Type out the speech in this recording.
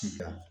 Ci kan